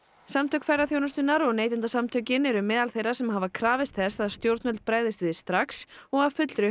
samtök ferðaþjónustunnar og Neytendasamtökin eru meðal þeirra sem hafa krafist þess að stjórnvöld bregðist við strax og af fullri